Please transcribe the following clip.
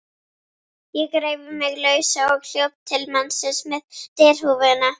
Ég reif mig lausa og hljóp til mannsins með derhúfuna.